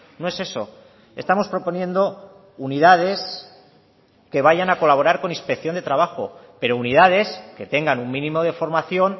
no es eso estamos proponiendo unidades que vayan a colaborar con inspección de trabajo pero unidades que tengan un mínimo de formación